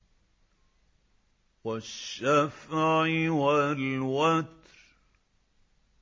وَالشَّفْعِ وَالْوَتْرِ